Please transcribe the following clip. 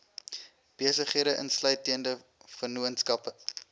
besighede insluitende vennootskappe